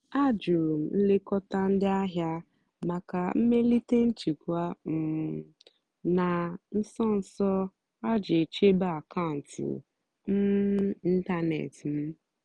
àjụ́rụ́ m nlékótá ndí àhìá màkà mmèlíté nchèkwà um nà nsó nsó á ìjì chèbé àkàụ́ntụ́ um ị́ntánètị́ m.